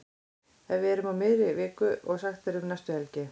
Ef við erum í miðri viku og sagt er um næstu helgi.